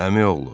Əmi oğlu.